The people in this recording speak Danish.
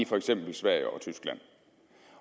for eksempel i sverige og tyskland